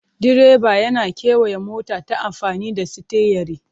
Direba yana kewaya mota ta amfani da sitiyari.